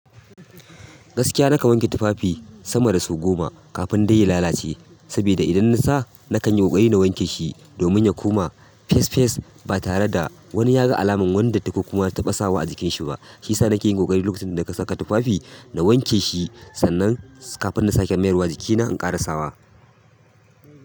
Gaskiya na kan wanke tufafi sama da sau goma kafin dai ya lalace, saboda idan na sa nakan yi ƙoƙari na wanke shi domin ya koma fes fes ba tare da wani ya ga alamar wani datti ko kuma na taɓa sawa a jikin shi ba. Shiyasa nake yin ƙoƙari lokacin da ka saka tufafi na wanke shi sannan kafin na sake mayarwa jikina in ƙarasawa.